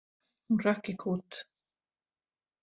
Hún hrökk í kút.